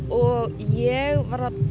og ég var að